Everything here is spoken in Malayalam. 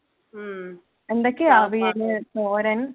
എന്തൊക്കെ അവിയല് തോരൻ